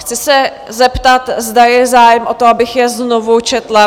Chci se zeptat, zda je zájem o to, abych je znovu četla?